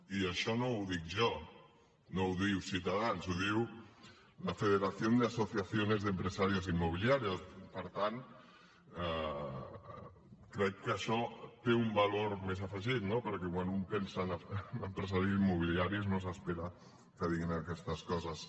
i això no ho dic jo no ho diu ciutadans ho diu la federación de asociaciones de empresarios inmobiliarios per tant crec que això té un valor més afegit no perquè quan un pensa en empresaris immobiliaris no s’espera que diguin aquestes coses